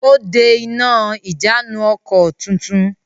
Ó de iná ìjánu-ọkọ̀ tuntun.